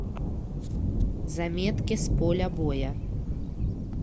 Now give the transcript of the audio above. заметки с поля боя